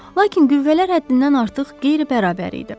Lakin qüvvələr həddindən artıq qeyri-bərabər idi.